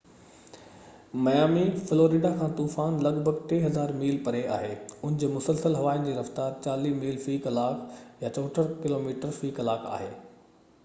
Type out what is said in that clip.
Miami, Florida کان طوفان لڳ ڀڳ 3،000 ميل پري آهي، ان جي مسلسل هوائن جي رفتار 40 ميل في ڪلاڪ 64 ڪلوميٽر في ڪلاڪ آهي